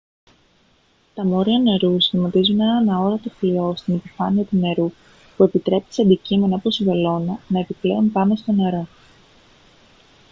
τα μόρια νερού σχηματίζουν έναν αόρατο φλοιό στην επιφάνεια του νερού που επιτρέπει σε αντικείμενα όπως η βελόνα να επιπλέουν πάνω στο νερό